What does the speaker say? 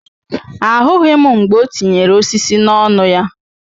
Ahụghị m mgbe o tinyere osisi n'ọnụ ya.